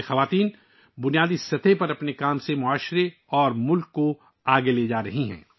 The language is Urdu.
یہ خواتین نچلی سطح پر اپنے کام کے ذریعے معاشرے اور ملک کو آگے لے جا رہی ہیں